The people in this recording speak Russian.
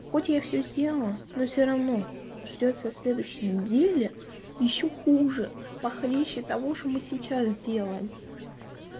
хотя я все сделала но все равно ждёт со следующей неделе ещё хуже похлеще того что мы сейчас делаем